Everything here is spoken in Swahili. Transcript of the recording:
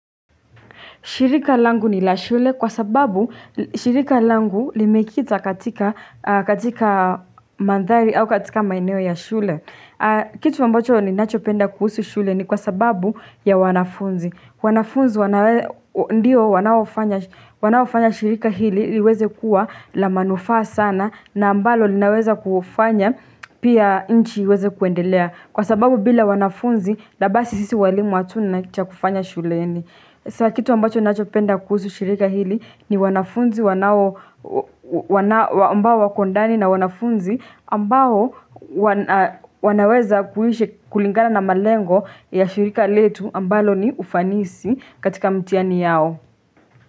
Shirika langu ni la shule kwa sababu shirika langu limekita katika mandhari au katika maeneo ya shule. Kitu ambacho ninachopenda kuhusu shule ni kwa sababu ya wanafunzi. Wanafunzi ndio wanaofanya shirika hili liweze kuwa la manufaa sana na ambalo linaweza kufanya pia nchi iweze kuendelea. Kwa sababu bila wanafunzi labasi sisi walimu hatuna cha kufanya shuleni. Sawa kitu ambacho nachopenda kuhusu shirika hili ni wanafunzi ambao wako ndani na wanafunzi ambao wanaweza kulingana na malengo ya shirika letu ambalo ni ufanisi katika mtihani yao.